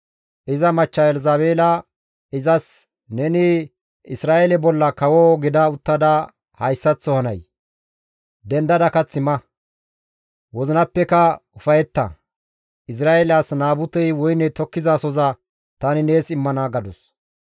Iza machcha Elzabeela izas, «Neni Isra7eele bolla kawo gida uttada hayssaththo hanay? Dendada kath ma! Wozinappeka ufayetta! Izra7eele as Naabutey woyne tokkizasohoza tani nees immana» gadus.